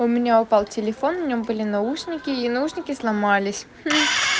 у меня упал телефон у меня были наушники и наушники сломались